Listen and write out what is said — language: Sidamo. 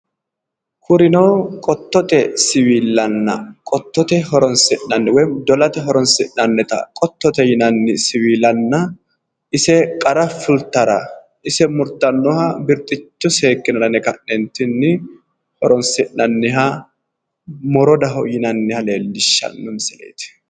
Kurino qototte siwiilana qototte horon'sinnani woyi dolate horon'sinnanita qototte yinani siwiilana ise qara fulitara ise murtanoha birxicho seekinara yine ka'neentini horon'sinnaniha morodaho yinanha leelishano misileti